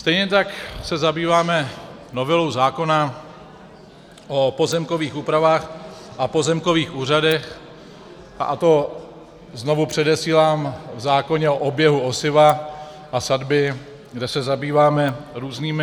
Stejně tak se zabýváme novelou zákona o pozemkovým úpravách a pozemkových úřadech, a to, znovu předesílám, v zákoně o oběhu osiva a sadby, kde se zabýváme různými...